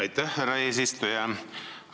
Aitäh, härra eesistuja!